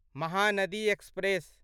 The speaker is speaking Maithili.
महानदी एक्सप्रेस